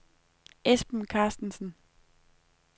Esben Carstensen